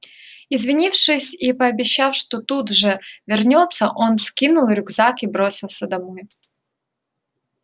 извинившись и пообещав что тут же вернётся он скинул рюкзак и бросился домой